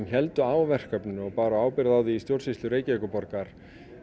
héldu á verkefninu og báru ábyrgð á því í stjórnsýslu Reykjavíkurborgar